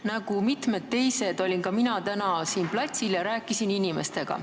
Nagu mitmed teised olin ka mina täna siin platsil ja rääkisin inimestega.